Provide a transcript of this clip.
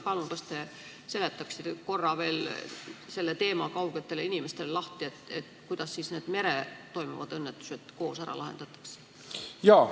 Palun, kas te seletaksite korra veel teemakaugetele inimestele lahti selle, kuidas siis need merel toimuvad õnnetused koos ära lahendatakse?